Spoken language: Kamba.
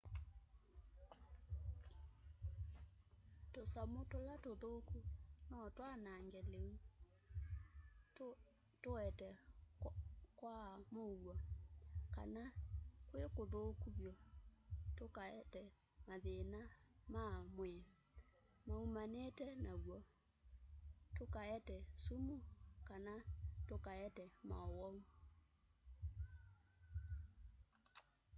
tũsamũ tũla tũthũku no twanage lĩu kũete kwaa mũuo kana kwĩ kũthũku vyũ tũkaete mathĩna ma mwĩĩ maumanĩĩte natw'o tũkaete sũmũ kana tũkaete maũwau